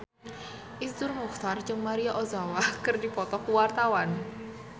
Iszur Muchtar jeung Maria Ozawa keur dipoto ku wartawan